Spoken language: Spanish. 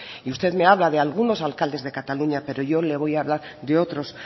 y usted me habla de algunos alcaldes de cataluña pero yo le voy a hablar de otros